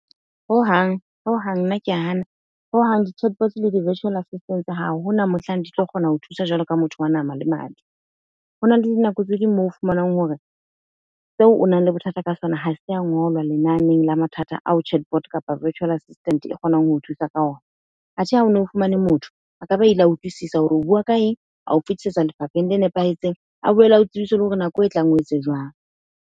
Hohang nna ke a hana hohang di-chatbots le di-virtual assistance tsa ha ho na mohlang di tlo kgona ho thusa jwalo ka motho wa nama le madi. Hona le dinako tse ding moo o fumanang hore seo o nang le bothata ka sona ha se a ngollwa lenaneng la mathata ao chatbot kapa virtual assistant e kgonang ho o thusa ka ona. Athe ha o no fumane motho a ka ba ile a utwisisa hore o bua ka eng, ao fetisetsa lefapheng le nepahetseng, a boele a o tsibise le hore nako e tlang o etse jwang.